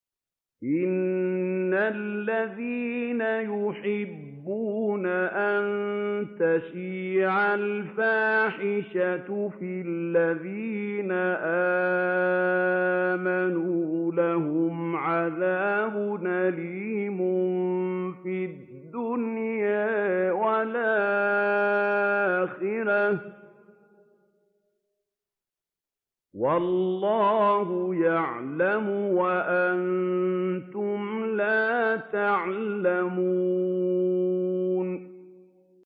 إِنَّ الَّذِينَ يُحِبُّونَ أَن تَشِيعَ الْفَاحِشَةُ فِي الَّذِينَ آمَنُوا لَهُمْ عَذَابٌ أَلِيمٌ فِي الدُّنْيَا وَالْآخِرَةِ ۚ وَاللَّهُ يَعْلَمُ وَأَنتُمْ لَا تَعْلَمُونَ